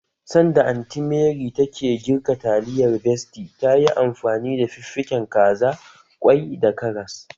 Sanda Anty Mary take girka taliyar besty tayi amfani da fiffiken kaza, ƙwai da karas